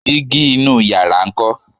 dígí inú yàrá nkọ?